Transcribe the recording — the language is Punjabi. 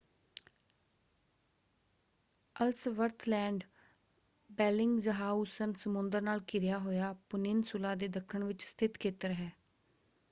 ਐਲਸਵਰਥ ਲੈਂਡ ਬੈਲਿੰਗਜ਼ਹਾਊਸਨ ਸਮੁੰਦਰ ਨਾਲ ਘਿਰਿਆ ਹੋਇਆ ਪਨਿੱਨਸੁਲਾ ਦੇ ਦੱਖਣ ਵਿੱਚ ਸਥਿਤ ਖੇਤਰ ਹੈ।